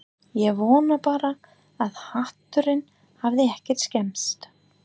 Ég vona bara að hatturinn hafi ekki skemmst